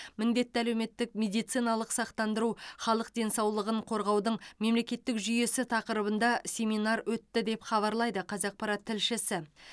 міндетті әлеуметтік медициналық сақтандыру халық денсаулығын қорғаудың мемлекеттік жүйесі тақырыбында семинар өтті деп хабарлайды қазақпарат тілшісі